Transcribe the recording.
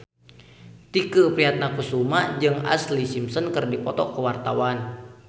Tike Priatnakusuma jeung Ashlee Simpson keur dipoto ku wartawan